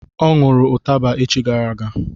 Ọ ṅụrụ ụtaba echi gara aga